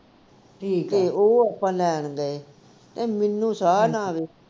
ਤੇ ਉਹ ਆਪਾ ਲੈਣ ਗਏ ਤੇ ਮੈਨੂੰ ਸਾਹ ਨਾ ਆਵੇ